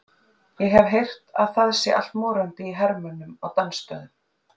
Ég hef heyrt að það sé allt morandi í hermönnum á dansstöðunum.